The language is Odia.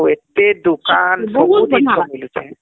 ଆଉ ଏତେ ଦୁକାନ ସବୁ ଦୁକାନ ବୁଲିଛେ